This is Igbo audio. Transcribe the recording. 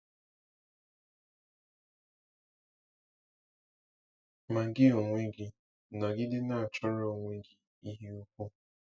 “Ma gị onwe gị, nọgide na-achọrọ onwe gị ihe ukwu.”